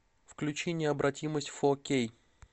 включи необратимость фо кей